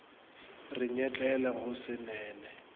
re nyetlele go se nene